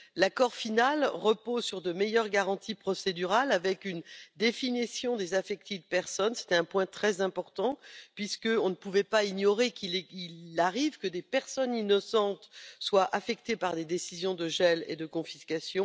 L'accord final repose sur de meilleures garanties procédurales avec une définition du terme personne concernée C'était un point très important puisqu'on ne pouvait pas ignorer qu'il arrive que des personnes innocentes soient affectées par des décisions de gel et de confiscation.